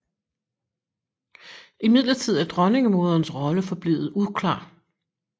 Imidlertid er dronningemoderens rolle forblevet uklar